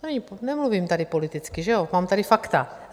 Nemluvím tady politicky, že jo, mám tady fakta.